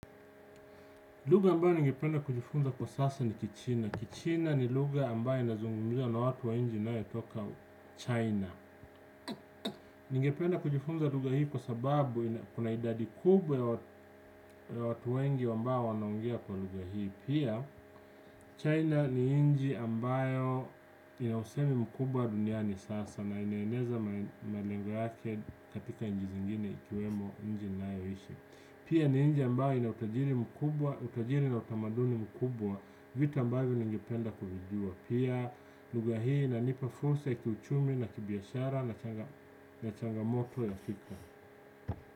Lugha ambayo ningependa kujifunza kwa sasa ni kichina. Kichina ni lugha ambayo inazungumzwa na watu wa nchi ninae toka China. Ningependa kujifunza lugha hii kwa sababu kuna idadi kubwa ya watu wengi ambayo wanaongea kwa lugha hii. Pia China ni inchi ambayo inausemi mkubwa duniani sasa na inaeneza malengo yake katika inchi zingine ikiwemo inchi ninayo ishi. Pia ni inchi ambayo ina utajiri mkubwa utajiri na utamaduni mkubwa vitu ambayvo ningependa kuvijua pia lugha hii inanipa fursa ya kiuchumi na kibiashara na changamoto ya fikra.